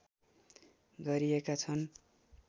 गरिएका छन्